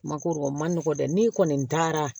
Ma ko o ma nɔgɔ dɛ n'i kɔni taara